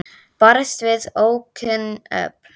Barist við ókunn öfl